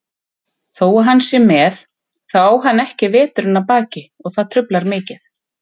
Þó hann sé með, þá á hann ekki veturinn að baki og það truflar mikið.